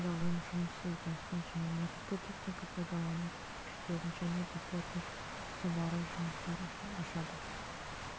тағайындалуын жұмыс сызбасын және негізгі техника пайдалану көрсеткіштерін және де плотник столяры жұмыстары үшін ашады